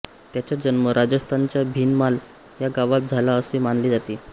त्याचा जन्म राजस्थानच्या भीनमाल ह्या गावात झाला असे मानले जाते